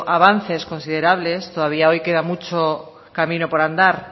avances considerables todavía hoy queda mucho camino por andar